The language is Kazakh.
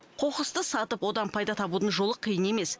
қоқысты сатып одан пайда табудың жолы қиын емес